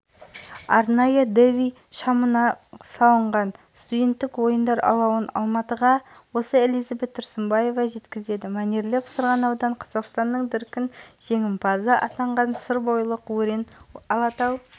арқылы болашақ университетіне жеткізілген алауды алғаш болып рио олимпиадасының қола жүлдегері александр зайчиков тұтандырды ауыр